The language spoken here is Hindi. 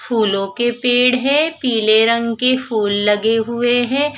फूलो के पेड़ है पिले रंग के फुल लगे हुए है।